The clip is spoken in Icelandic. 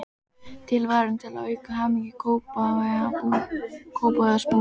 Tilvalinn til að auka hamingju Kópavogsbúa.